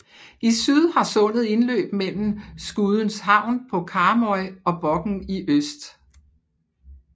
I syd har sundet indløb mellem Skudeneshavn på Karmøy og Bokn i øst